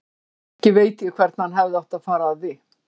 Ekki veit ég hvernig hann hefði átt að fara að því.